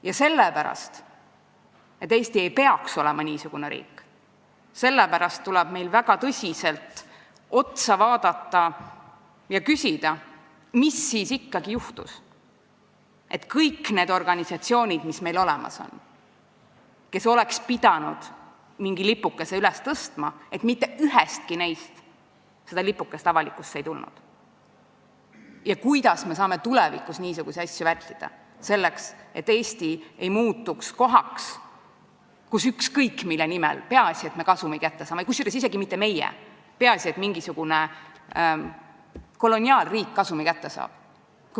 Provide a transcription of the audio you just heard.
Ja sellepärast, et Eesti ei peaks olema niisugune riik, tuleb meil endale väga tõsiselt otsa vaadata ja küsida, mis siis ikkagi juhtus, et ühestki organisatsioonist, mis meil olemas on ja mis kõik oleksid pidanud mingi lipukese üles tõstma, seda lipukest avalikkuse ette ei tulnud, ja kuidas me saame tulevikus niisuguseid asju vältida, selleks et Eesti ei muutuks kohaks, kus on peaasi, et me kasumi kätte saame, kusjuures isegi mitte meie ei pea seda saama, vaid peaasi, et mingisugune koloniaalriik kasumi kätte saab.